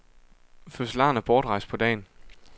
Fødselaren er bortrejst på dagen.